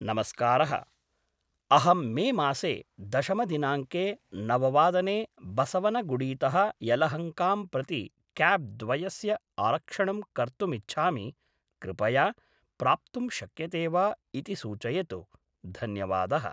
नमस्कारः अहं मे मासे दशमदिनाङ्के नववादने बसवनगुडीतः यलहङ्कां प्रति क्याब् द्वयस्य आरक्षणं कर्तुमिच्छामि कृपया प्राप्तुं शक्यते वा इति सूचयतु धन्यवादः